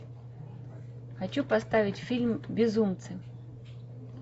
хочу поставить фильм безумцы